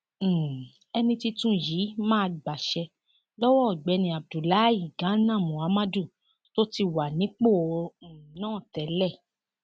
um ẹni tuntun yìí máa gbaṣẹ lọwọ ọgbẹni abdullahi gánà muhammadu tó ti wà nípò um náà tẹlẹ